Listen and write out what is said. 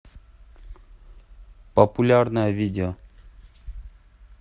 популярное видео